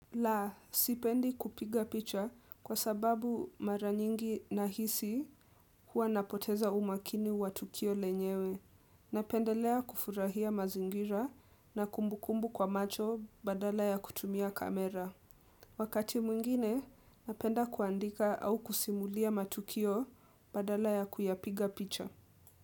La, sipendi kupiga picha kwa sababu mara nyingi nahisi huwa napoteza umakini wa Tukio lenyewe. Napendelea kufurahia mazingira na kumbukumbu kwa macho badala ya kutumia kamera. Wakati mwingine, napenda kuandika au kusimulia matukio badala ya kuyapiga picha.